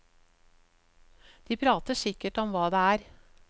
De prater sikkert om hva det er.